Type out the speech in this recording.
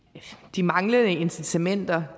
de manglende incitamenter